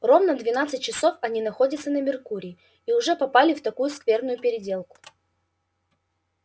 ровно двенадцать часов они находятся на меркурии и уже попали в такую скверную переделку